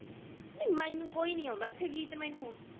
ਨੀ ਮੈਨੂੰ ਕੋਈ ਨੀ ਆਂਦਾ ਇੱਥੇ ਗੀਤ ਮੈਨੂੰ